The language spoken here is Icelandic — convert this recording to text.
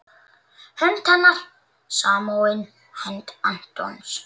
Hönd hennar samofin hendi Antons.